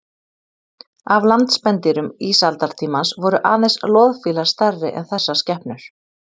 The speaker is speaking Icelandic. Af landspendýrum ísaldartímans voru aðeins loðfílar stærri en þessar skepnur.